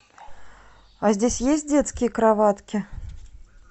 а здесь есть детские кроватки